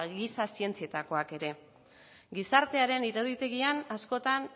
giza zientzietakoak ere gizartearen iruditegian askotan